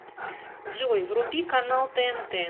джой вруби канал тнт